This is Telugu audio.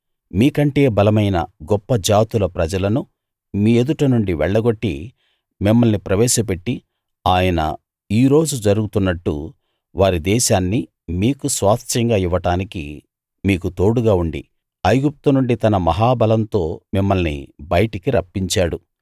మీకంటే బలమైన గొప్ప జాతుల ప్రజలను మీ ఎదుట నుండి వెళ్లగొట్టి మిమ్మల్ని ప్రవేశపెట్టి ఆయన ఈ రోజు జరుగుతున్నట్టు వారి దేశాన్ని మీకు స్వాస్థ్యంగా ఇవ్వడానికి మీకు తోడుగా ఉండి ఐగుప్తు నుండి తన మహాబలంతో మిమ్మల్ని బయటికి రప్పించాడు